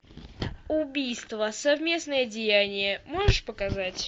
убийство совместное деяние можешь показать